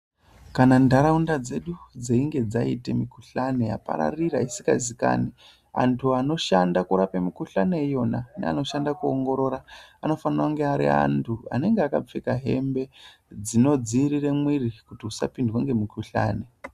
Kana ntaraunda dzedu dzeinge dzaite mikhuhlane yapararira isikazikani, antu anoshande kurape mikhuhlanei yona neanoshanda kuongorora anofane kunge ariantu anofanekunge akapfeka hembe dzinodziirire mwiri kuti usapindwe ngemukuhlane.